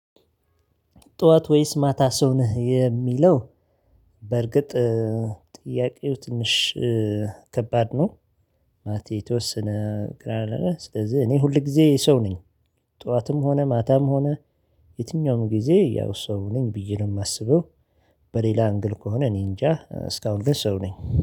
ጠዋት ወይስ ማታ ሰው ነህ የሚለው? በርግጥ ጥያቄው ትንሽ ከባድ ነው ማለቴ የተወሰነ ግራ ያጋባል ስለዚህ እኔ ሁል ጊዜ ሰው ነኝ ጠዋትም ሆነ ማታም ሆነ የትኛውም ጊዜ ያው ሰው ነኝ ብዬ ነው የማስበው። በሌላ እንግል ከሆነ እኔ እንጃ እስካሁን ድረስ ሰው ነኝ